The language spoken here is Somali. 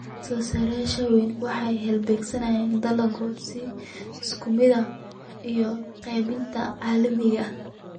Soosaarayaasha waaweyni waxay halbeegeeyaan dalagyada si isku mid ah iyo qaybinta caalamiga ah.